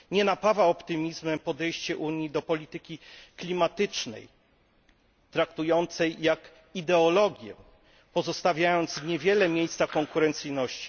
Nie napawa optymizmem podejście Unii do polityki klimatycznej, którą traktuje się jak ideologię, pozostawiając niewiele miejsca konkurencyjności.